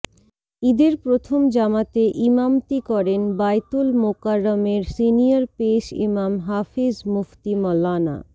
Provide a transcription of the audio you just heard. ঈদের প্রথম জামাতে ইমামতি করেন বায়তুল মোকাররমের সিনিয়র পেশ ইমাম হাফেজ মুফতি মাওলানা